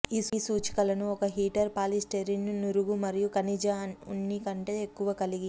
ఈ సూచికలను ఒక హీటర్ పాలీస్టైరిన్ను నురుగు మరియు ఖనిజ ఉన్ని కంటే ఎక్కువ కలిగి